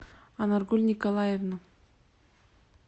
анаргуль николаевна